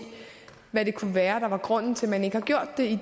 hvad det kunne være der var grunden til at man ikke har gjort det i